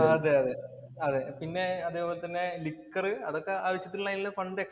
അതെ അതേ. അതേ. പിന്നെ അതേപോലെ തന്നെ ലിക്കര്‍ അതൊക്കെ ആവശ്യത്തിനുള്ള ഫണ്ട്